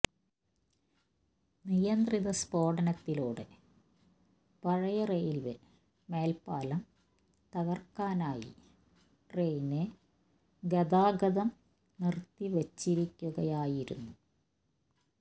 നിയന്ത്രിത സ്ഫോടനത്തിലൂടെ പഴയ റെയില്വേ മേല്പ്പാലം തകര്ക്കാനായി ട്രെയിന് ഗതാഗതം നിര്ത്തിവച്ചിരിക്കുകയായിരുന്നു